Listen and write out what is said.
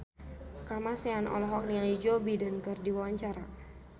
Kamasean olohok ningali Joe Biden keur diwawancara